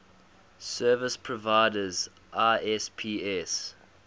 service providers isps